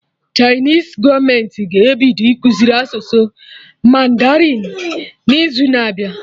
Chinese gọọmenti ga-ebido ịkụziri asụsụ mandarin n'izu na abịa